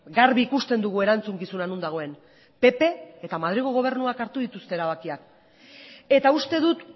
garbi ikusten dugu erantzukizuna non dagoen pp eta madrilgo gobernuak hartu dituzte erabakiak eta uste dut